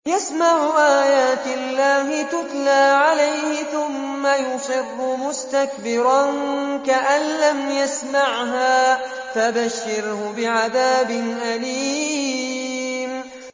يَسْمَعُ آيَاتِ اللَّهِ تُتْلَىٰ عَلَيْهِ ثُمَّ يُصِرُّ مُسْتَكْبِرًا كَأَن لَّمْ يَسْمَعْهَا ۖ فَبَشِّرْهُ بِعَذَابٍ أَلِيمٍ